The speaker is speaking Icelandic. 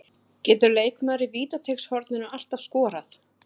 Getur leikmaður í vítateigshorninu alltaf skorað?